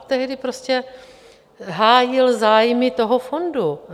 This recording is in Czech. Tehdy prostě hájil zájmy toho fondu.